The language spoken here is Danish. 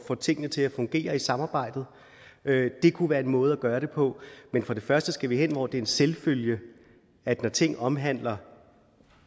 får tingene til at fungere i samarbejdet det kunne være en måde at gøre det på men for det første skal vi hen hvor det er en selvfølge at når ting omhandler